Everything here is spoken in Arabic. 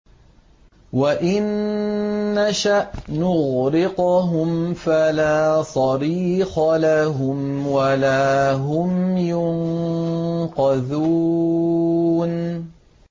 وَإِن نَّشَأْ نُغْرِقْهُمْ فَلَا صَرِيخَ لَهُمْ وَلَا هُمْ يُنقَذُونَ